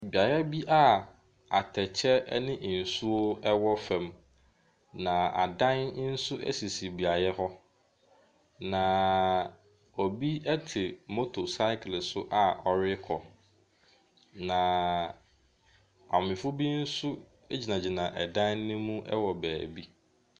Beaeɛ bi a atɛkyɛ ɛne nsuo ɛwɔ fam na adan nso esisi beaeɛ hɔ. Na obi ɛte motor cycle so a ɔrekɔ na maamefoɔ bi nso egyinagyina dan no mu ɛwɔ baabi.